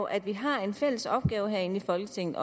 at vi har en fælles opgave herinde i folketinget